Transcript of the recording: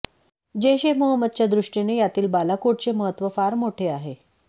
जैश ए मोहम्मदच्या दृष्टीने यातील बालाकोटचे महत्त्व फार मोठे आहे